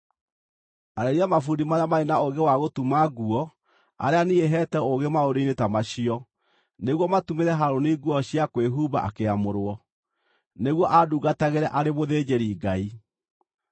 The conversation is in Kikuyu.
Arĩria mabundi marĩa marĩ na ũũgĩ wa gũtuma, nguo arĩa niĩ heete ũũgĩ maũndũ-inĩ ta macio, nĩguo matumĩre Harũni nguo cia kwĩhumba akĩamũrwo, nĩguo andungatagĩre arĩ mũthĩnjĩri-Ngai.